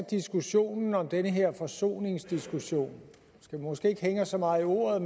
diskussionen om den her forsoningskommission vi skal måske ikke hænge os så meget i ordet